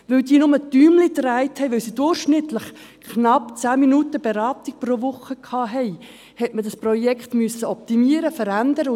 Weil diese bloss Däumchen drehten, weil diese durchschnittlich knapp 10 Minuten Beratung pro Woche leisteten, musste man dieses Projekt optimieren und verändern.